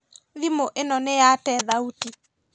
Thimũ ĩno nĩyate thauti